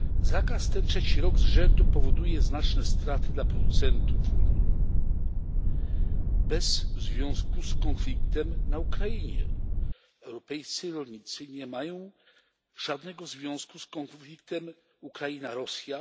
Zakaz ten trzeci rok z rzędu powoduje znaczne straty dla producentów w Unii, bez związku z konfliktem na Ukrainie europejscy rolnicy nie mają żadnego związku z konfliktem Ukraina Rosja.